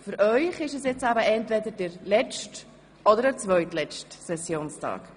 Für Sie ist es entweder der letzte oder der zweitletzte Sessionstag.